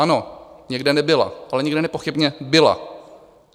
Ano, někde nebyla, ale někde nepochybně byla.